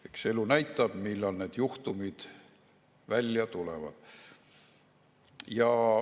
Eks elu näitab, millal need juhtumid välja tulevad.